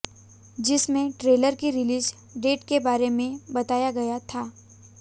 जिसमें ट्रेलर की release date के बारे में बताया गया था